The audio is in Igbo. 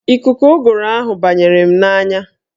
Ikuku ụgụrụ ahụ banyere m n'anya